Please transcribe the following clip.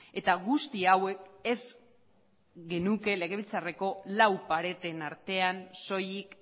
eta guzti hauek ez genuke legebiltzarreko lau pareten artean soilik